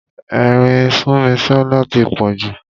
Ẹ̀rín Súnmisọ́lá tí pọ̀ jù.